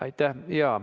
Aitäh!